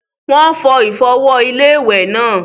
Wọ́n fọ ìfọ̀wọ̀-iléwẹ̀ náà.